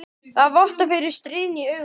Það vottar fyrir stríðni í augunum.